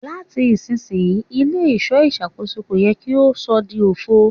Lati isisiyi ile-iṣọ iṣakoso ko yẹ ki o sọ di ofo